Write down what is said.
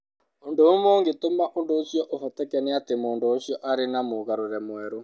Ũndũ ũmwe ũngĩtũma ũndũ ũcio ũhoteke nĩ atĩ mũndũ ũcio arĩ na mũgarũre mwerũ.